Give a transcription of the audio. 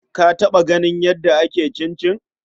Ka taɓa ganin yadda ake cincin?